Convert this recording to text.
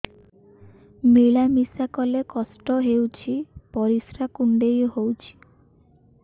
ମିଳା ମିଶା କଲେ କଷ୍ଟ ହେଉଚି ପରିସ୍ରା କୁଣ୍ଡେଇ ହଉଚି